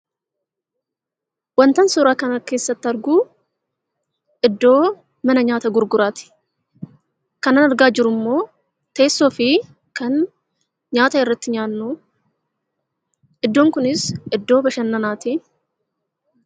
Wantan suuraa kana keessatti argu iddoo mana nyaataa gurguraati. Kanan argaa jirummoo teessoo fi kan nyaata irratti nyaannu iddoon kunis iddoo bashannanaati.